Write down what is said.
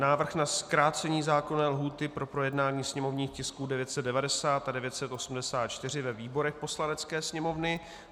Návrh na zkrácení zákonné lhůty pro projednání sněmovních tisků 990 a 984 ve výborech Poslanecké sněmovny